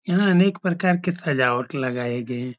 यहाँ अनेक प्रकार के सजावट लगाए गए --